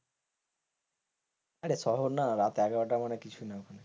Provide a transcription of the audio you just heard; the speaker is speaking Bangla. আরে শহর না রাত এগারোটা মানে কিছু না ওখানে।